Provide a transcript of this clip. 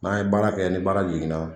N'an ye baara kɛ ni baara yiginna.